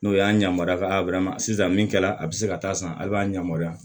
N'o y'an yamaruya ka sisan min kɛra a bɛ se ka taa san a b'a yamaruya